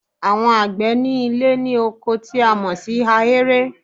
Àwon àgbẹ̀ ní Ilé ní oko tí a mọ̀ sí ahéré